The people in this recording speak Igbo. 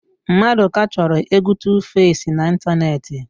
Mmadụka chọrọ égwú Tufesi n'ịntanetị.